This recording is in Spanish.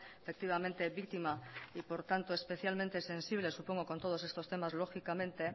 efectivamente víctima y por tanto especialmente sensible supongo con todos estos temas lógicamente